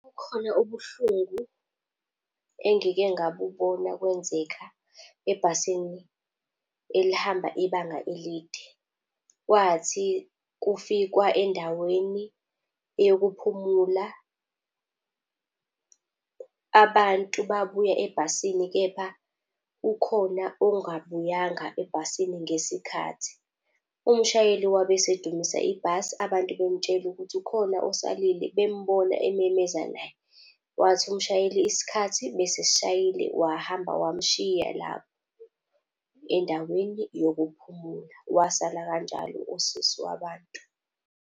Kukhona ubuhlungu engike ngabubona kwenzeka ebhasini elihamba ibanga elide. Kwathi kufikwa endaweni yokuphumula, abantu babuya ebhasini kepha ukhona ongabuyanga ebhasini ngesikhathi. Umshayeli wabe esedumisa ibhasi, abantu bemtshela ukuthi ukhona osalile bembona ememeza naye. Wathi umshayeli isikhathi besesishayile wahamba, wamshiya lapha endaweni yokuphumula. Wasala kanjalo usisi wabantu.